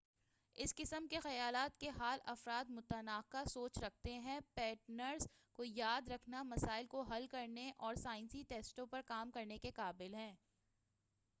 اس قسم کے خیالات کے حال افراد منطقانہ سوچ رکھتے ہیں پیٹرنز کو یاد رکھنے مسائل کو حل کرنے اور سائنسی ٹیسٹوں پر کام کرنے کے قابل ہیں